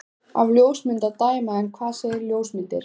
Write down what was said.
Af ljósmynd að dæma. en hvað segja ljósmyndir?